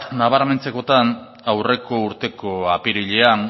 nabarmentzekotan aurreko urteko apirilean